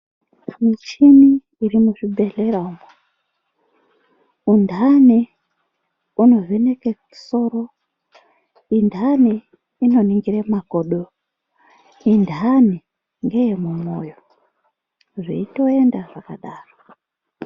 Muchini iri muzvibhehlera umwo. Indani unovhekeke soro, indani inoningire makodo, indani ngeyemumwoyo, zveitoenda zvakadaro.